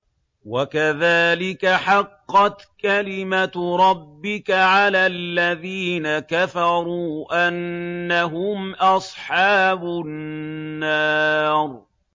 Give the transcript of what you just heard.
وَكَذَٰلِكَ حَقَّتْ كَلِمَتُ رَبِّكَ عَلَى الَّذِينَ كَفَرُوا أَنَّهُمْ أَصْحَابُ النَّارِ